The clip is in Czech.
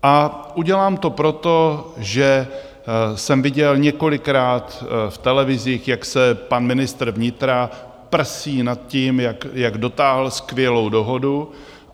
A udělám to proto, že jsem viděl několikrát v televizích, jak se pan ministr vnitra prsí nad tím, jak dotáhl skvělou dohodu.